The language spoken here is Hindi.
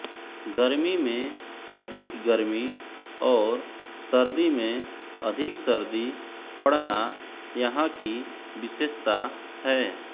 गर्मी में अधिक गर्मी और सर्दी में अधिक सर्दी पडना यहाँ की विशेषता है